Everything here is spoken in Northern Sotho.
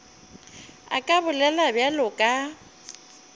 a ka bolela bjalo ka